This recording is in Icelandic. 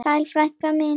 Sæl frænka mín.